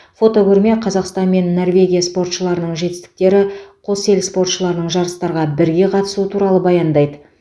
фотокөрме қазақстан мен норвегия спортшыларының жетістіктері қос ел спортшыларының жарыстарға бірге қатысуы туралы баяндайды